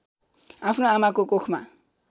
आफ्नो आमाको कोखमा